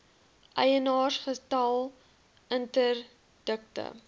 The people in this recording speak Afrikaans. eienaars getal interdikte